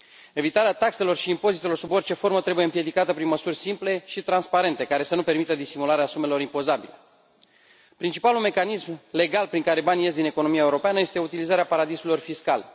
Evitarea taxelor și impozitelor sub orice formă trebuie împiedicată prin măsuri simple și transparente, care să nu permită disimularea sumelor impozabile. Principalul mecanism legal prin care banii ies din economia europeană este utilizarea paradisurilor fiscale.